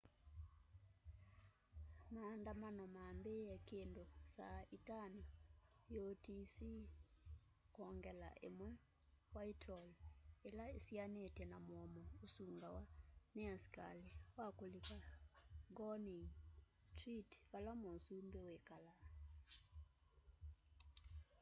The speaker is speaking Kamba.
maandamano mambiie kindu saa 11:00 utc+1 whitehall ila isianitye na mũomo ũsungawa ni askali wa kulika downing street vala mũsũmbi wikalaa